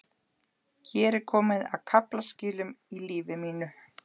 Hér er komið að kaflaskilum í lífi mínu.